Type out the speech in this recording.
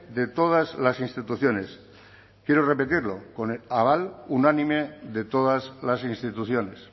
de todas las instituciones quiero repetirlo con el aval unánime de todas las instituciones